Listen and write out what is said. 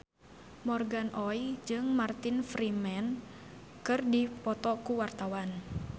Morgan Oey jeung Martin Freeman keur dipoto ku wartawan